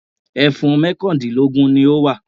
Ẹfun mọ́kàndínlógún ni ó wà.